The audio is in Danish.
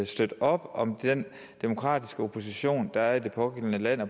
støtte op om den demokratiske opposition der er i det pågældende land og